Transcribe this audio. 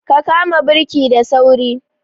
Ka kama birki da sauri!